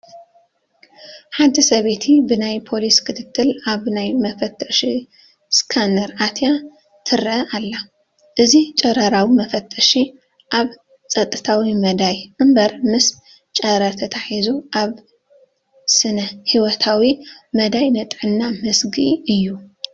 ሓንቲ ሰበይቲ ብናይ ፖሊስ ክትትል ኣብ ናይ መፈተሺ ስካነር ኣትያ ትርአ ኣላ፡፡ እዚ ጨረራዊ መፈተሺ ኣብ ፀጥታዊ መዳዩ እምበር ምስ ጨረራ ተተሓሒዙ ኣብ ስነ ህይወታዊ መዳዩ ንጥዕና መስግኢ እዩ፡፡